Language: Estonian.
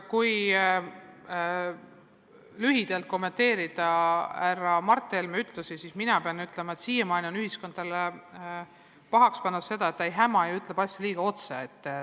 Kui lühidalt kommenteerida härra Mart Helme öeldut, siis mina pean ütlema, et siiamaani on ühiskond talle pahaks pannud seda, et ta ei häma ja ütleb asju liiga otse.